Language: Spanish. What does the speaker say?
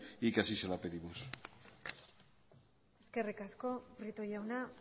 y que así se la pedimos eskerrik asko prieto jauna